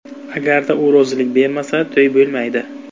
Agarda u rozilik bermasa to‘y bo‘lmaydi.